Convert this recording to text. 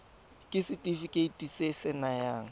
ke setefikeiti se se nayang